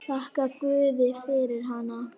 Þakkar guði fyrir hana.